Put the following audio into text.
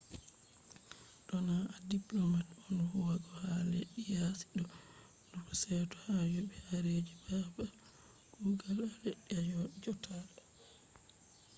to na a diplomat on huwugo ha leddi yaasi do nufa seto ha yobi haraji babal kugal a leddi a jodata